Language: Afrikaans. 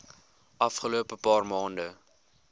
afgelope paar maande